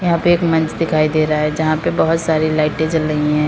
यहां पे एक मंच दिखाई दे रहा है जहां पे बहुत सारी लाइटें जल रही हैं।